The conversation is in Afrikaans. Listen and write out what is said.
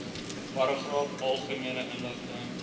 paragraaf algemene inligting